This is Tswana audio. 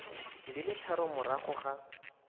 di le tharo morago ga